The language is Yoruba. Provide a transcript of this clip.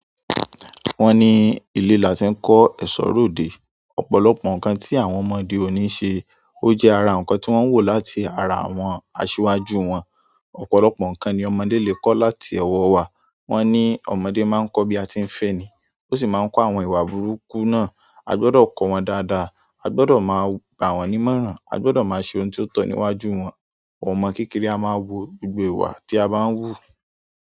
Wọ́n ní ilé la ti ń kọ́ ẹ̀ṣọ́ ròde, ọ̀pọ̀lọpọ̀ nǹkan tí àwọn ọmọdé ò ní ṣe, ó jẹ́ ara nǹkan tí wọ́n wò láti ara àwọn asíwájú wọn. Ọ̀pọ̀lọpọ̀ nǹkan ni ọmọdé lè kọ́ láti owo wa. Wọ́n ní ọmọdé máa ń kọ́ bí a tí ń fẹ́ ẹ ni, ó sì máa ń kó àwọn ìwà burúkú náà. A gbọdọ̀ kọ wọn dáadáa, a gbọdọ̀ máa gbà wọ́n ní ìmọ̀ràn, a gbọdọ̀ máa ṣe ohun tí ó tọ́ níwájú wọn. Ọmọ kékeré a máa wo gbogbo ìwà tí a bá ń hù.